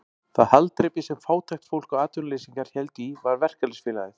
Það haldreipi sem fátækt fólk og atvinnuleysingjar héldu í var verkalýðsfélagið.